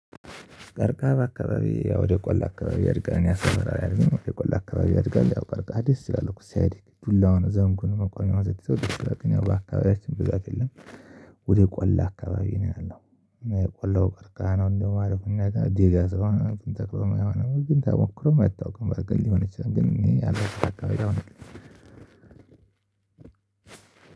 ቀርቀሃ በአካባቢዬ ያው ወደ ቆላ አካባቢ ያድጋል እኛ ሰፈር አያድግም ወደ ቆላ አካባቢ ያድጋል ያው ቀርቀሃ ደስ ይላል እኮ ሲያድግ ዱላ ሆኖ ዘንጉን መቆሚያዉን ስትይዘው ደስ ይላል ግን ያው በአካባቢያችን ብዛት የለም። ወደ ቆላ አካባቢ ነው ያለው። የቆላው ቀርቀሃ ነው እንደውም አሪፉ እኛ ጋር ነው ደጋ ስለሆን ነው ተተክሎ ማይሆነው ተሞክሮም አይታወቅም። በርግጥ ሊሆን ይችላል ግን እኔ ያለሁበት አካባቢ ላይ ነው።